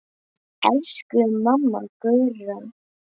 Elsku mamma Gurra.